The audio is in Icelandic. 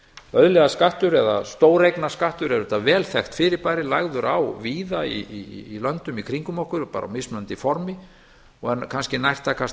auðlegðarskattur eða stóreignaskattur er auðvitað vel þekkt fyrirbæri lagður á víða í löndum í kringum okkur bara á mismunandi formi og er kannski nærtækast